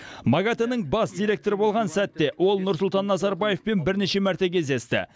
магатэ нің бас директоры болған сәтте ол нұрсұлтан назарбаевпен бірнеше мәрте кездесті